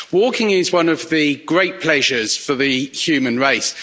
Walking is one of the great pleasures for the human race.